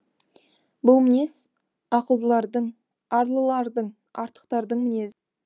бұл мінез ақылдылардың арлылардың артықтардың мінезі